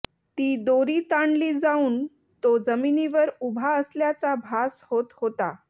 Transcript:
ती दोरी ताणली जाऊन तो जमिनीवर ऊभा असल्याचा भास होत होता